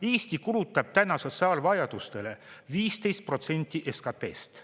Eesti kulutab täna sotsiaalvajadustele 15% SKT-st.